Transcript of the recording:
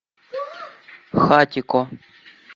хатико